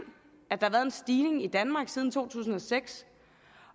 at der har været en stigning i danmark siden to tusind og seks